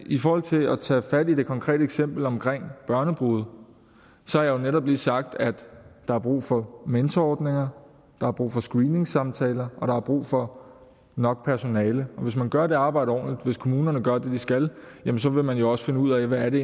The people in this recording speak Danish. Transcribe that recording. i forhold til at tage fat i det konkrete eksempel om børnebrude har jeg netop lige sagt at der er brug for mentorordninger der er brug for screeningsamtaler og der er brug for nok personale hvis man gør det arbejde ordentligt hvis kommunerne gør det de skal så vil man jo også finde ud af hvad det